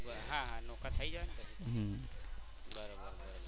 હા હા નોખા થઈ જવાય ને. હમ્મ બરોબર બરોબર.